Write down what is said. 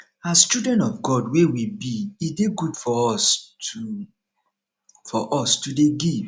as children of god wey we be e dey good for us to for us to dey give